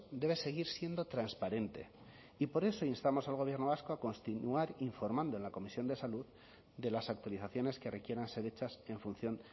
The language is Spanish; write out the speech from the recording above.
debe seguir siendo transparente y por eso instamos al gobierno vasco a continuar informando en la comisión de salud de las actualizaciones que requieran ser hechas en función